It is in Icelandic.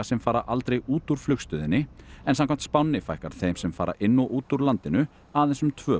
sem fara aldrei út úr flugstöðinni en samkvæmt spánni fækkar þeim sem fara inn og út úr landinu aðeins um tvö